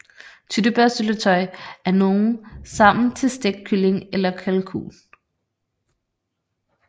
Tyttebærsyltetøj af nogle sammen til stegt kylling eller kalkun